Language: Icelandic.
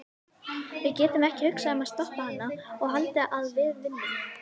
Við getum ekki hugsað um að stoppa hana og haldið að við vinnum.